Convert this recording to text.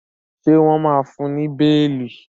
ṣe wón má fún ní beeli?